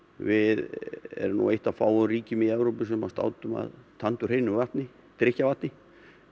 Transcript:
við erum nú eitt af fáum ríkjum í Evrópu sem státum af vatni drykkjarvatni